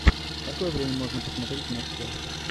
в какое время можно посмотреть матч челси